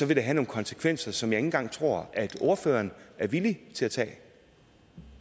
vil det have nogle konsekvenser som engang tror at ordføreren er villig til at tage